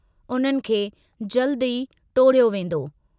उन्हनि खे जल्दु ई टोड़ियो वेन्दो।